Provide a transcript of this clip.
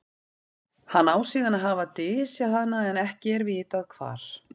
hann á síðan að hafa dysjað hana en ekki er vitað hvar